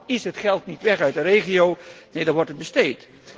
Dan is het geld niet weg uit de regio, neen, dan wordt het besteed.